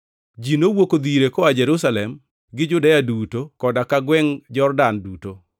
Ji nowuok odhi ire koa Jerusalem gi Judea duto koda ka gwengʼ Jordan duto.